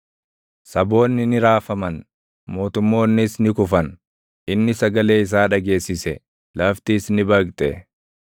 Saboonni ni raafaman; mootummoonnis ni kufan; inni sagalee isaa dhageessise; laftis ni baqxe.